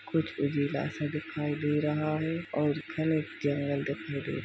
कुछ उजेला सा दिखाई दे रहा है और घने जंगल दिखाई दे रहे हैं।